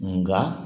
Nga